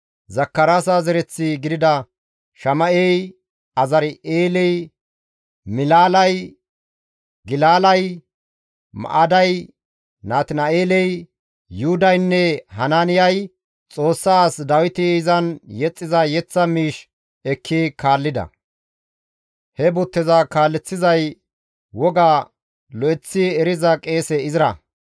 Zakaraasa zereththi gidida Shama7ey, Azari7eeley, Milaalay, Gilalay, Ma7aday, Natina7eeley, Yuhudaynne Hanaaniyay Xoossa as Dawiti izan yexxiza yeththa miish ekki kaallida; he butteza kaaleththizay woga lo7eththi eriza qeese Izra.